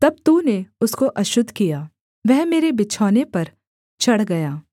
तब तूने उसको अशुद्ध किया वह मेरे बिछौने पर चढ़ गया